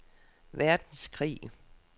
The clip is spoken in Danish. verdenskrig